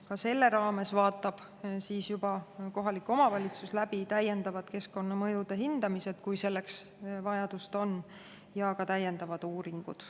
Ka selle raames vaatab siis juba kohalik omavalitsus läbi täiendavad keskkonnamõjude hindamised, kui selleks vajadus on, ja ka täiendavad uuringud.